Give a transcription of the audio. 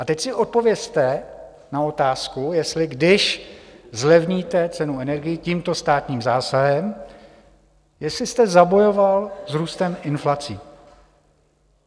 A teď si odpovězte na otázku, jestli když zlevníte cenu energií tímto státním zásahem, jestli jste zabojoval s růstem inflace.